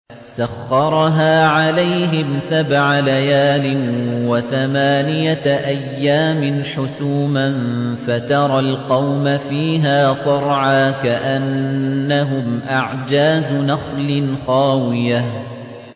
سَخَّرَهَا عَلَيْهِمْ سَبْعَ لَيَالٍ وَثَمَانِيَةَ أَيَّامٍ حُسُومًا فَتَرَى الْقَوْمَ فِيهَا صَرْعَىٰ كَأَنَّهُمْ أَعْجَازُ نَخْلٍ خَاوِيَةٍ